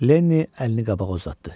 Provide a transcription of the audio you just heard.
Lenni əlini qabağa uzatdı.